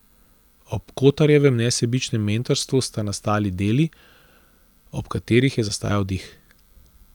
Ob Kotarjevem nesebičnem mentorstvu sta nastali deli, ob katerih je zastajal dih.